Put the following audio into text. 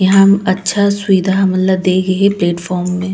यहाँ अच्छा सुविधा हमन ल दे गए हे प्लेटफार्म मे--